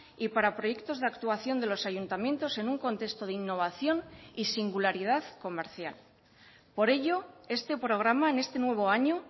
y para proyectos de actuación de los ayuntamientos en un contexto de innovación y singularidad comercial por ello este programa en este nuevo año